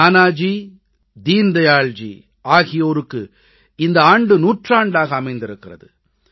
நானாஜி தீன் தயாள் ஆகியோருக்கு இந்த ஆண்டு நூற்றாண்டாக அமைந்திருக்கிறது